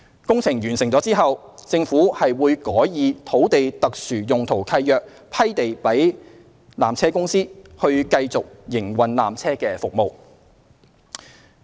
工程完成後，政府會改以土地特殊用途契約批地予纜車公司，以繼續營運纜車服務。